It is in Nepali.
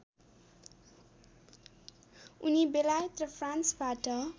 उनी बेलायत र फ्रान्सबाट